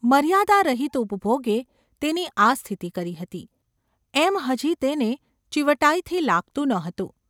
મર્યાદા રહિત ઉપભોગે તેની આ સ્થિતિ કરી ​ હતી એમ હજી તેને ચીવટાઈથી લાગતું ન હતું.